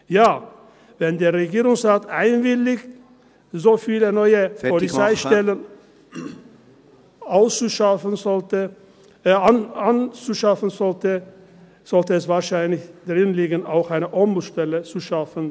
Ja, wenn der Regierungsrat einwilligt, so viele neue … Polizeistellen zu schaffen, sollte es wahrscheinlich drin liegen, auch eine Ombudsstelle zu schaffen.